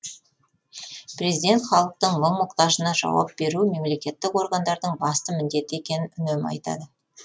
президент халықтың мұң мұқтажына жауап беру мемлекеттік органдардың басты міндеті екенін үнемі айтады